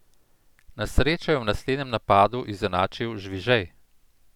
Na srečo je v naslednjem napadu izenačil Žvižej.